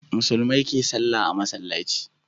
Musulmai ke sallah a masallaci